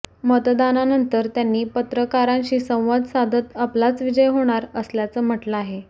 मतदानानंतर त्यांनी पत्रकारांशी संवाद साधत आपलाच विजय होणार असल्याचं म्हटलं आहे